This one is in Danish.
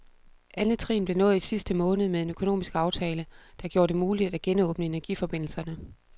Andet trin blev nået i sidste måned med en økonomisk aftale, der gjorde det muligt at genåbne energiforbindelserne.